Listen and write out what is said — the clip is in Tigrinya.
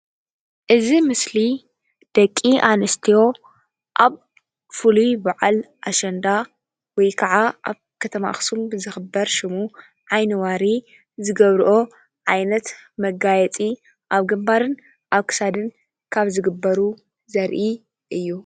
እዚ ምስሊ ደቂ ኣንስትዮ ኣብ ፍሉይ በዓል ኣሸንዳ ወይከዓ ኣብ ከተማ ኣክሱም ብ ዝክበር ሽሙ ዓይኒዋሪ ዝገብርኦ ዓይነት መጋየፂ ኣብ ግንባርን ኣብ ክሳድን ካብ ዝግበሩ ዘርኢ እዩ፡፡